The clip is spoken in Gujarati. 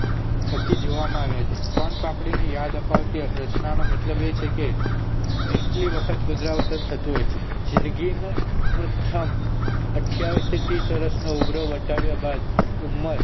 થકી જોવામાં આવ્યા છે સોનપાપડી ની યાદ અપાવતી આ રચનાનો મતલબ આ છે કે એટલી વખત પુનરાવર્તન થતું હોય છે જિંદગીના પ્રથમ અઠ્યાવીશ થી ત્રીશ વર્ષ નો ઉમરો વટાવ્યા બાદ ઉમર